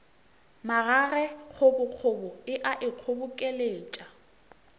magage kgobokgobo e a ikgobokeletša